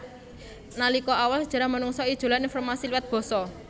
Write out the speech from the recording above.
Nalika awal sajarah manungsa ijolan informasi liwat basa